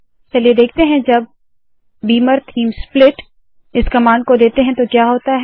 चलिए देखते है जब बीमर थीम स्प्लिट इस कमांड को देते है तो क्या होता है